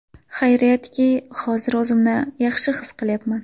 Xayriyatki, hozir o‘zimni yaxshi his qilyapman.